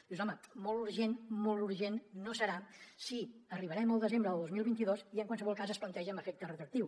dius home molt urgent molt urgent no serà si arribarem al desembre del dos mil vint dos i en qualsevol cas es planteja amb efecte retroactiu